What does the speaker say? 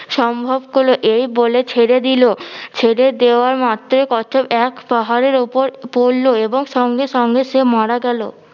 সম্ভব হলো এই বলে ছেড়ে দিলো, ছেড়ে দেওয়ার মাত্রই কচ্ছপ এক পাহাড়ের উপর পড়লো এবং সঙ্গে সঙ্গে সে মারা গেলো